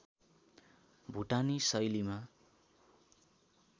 भूटानी शैलीमा